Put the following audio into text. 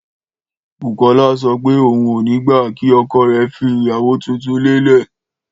Bùkọ́lá sọ pé òun ò ní gbà kí ọkọ rei fẹ́ ìyàwó tuntun lé e